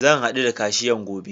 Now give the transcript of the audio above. Zan haɗu da kashiyan gobe.